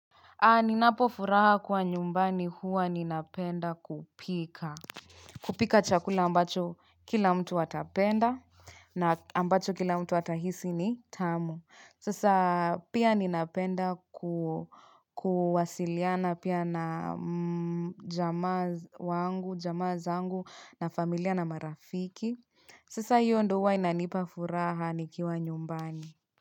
Ani napofuraha kuwa nyumbani huwa ninapenda kupika. Kupika chakula ambacho kila mtu atapenda na ambacho kila mtu atahisi ni tamu. Sasa pia ninapenda ku kuwasiliana pia na jamaa wangu, jamaa zangu na familia na marafiki. Sasa hio ndo huwa inanipafuraha nikiwa nyumbani.